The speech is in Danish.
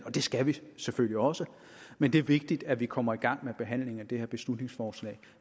og det skal vi selvfølgelig også men det er vigtigt at vi kommer i gang med behandlingen af det her beslutningsforslag